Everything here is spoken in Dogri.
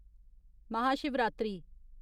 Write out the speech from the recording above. महाशिवरात्रि